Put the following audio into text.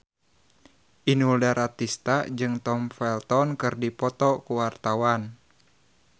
Inul Daratista jeung Tom Felton keur dipoto ku wartawan